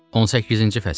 18-ci fəsil.